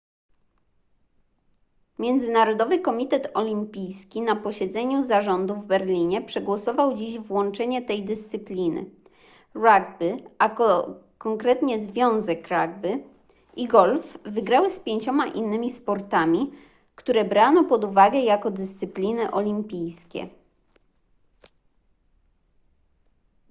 międzynarodowy komitet olimpijski na posiedzeniu zarządu w berlinie przegłosował dziś włączenie tej dyscypliny rugby a konkretnie związek rugby i golf wygrały z pięcioma innymi sportami które brano pod uwagę jako dyscypliny olimpijskie